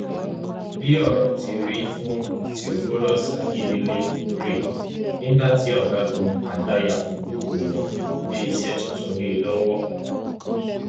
bí ọrọ ti rí fún theophilous akíndélé rèé nígbà tí ọgágun àgbà yakubu gọwọn gbé iṣẹ tuntun lé e lọwọ